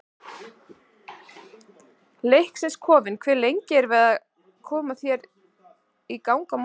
Leiknis kofinn Hversu lengi ertu að koma þér í gang á morgnanna?